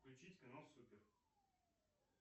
включить канал супер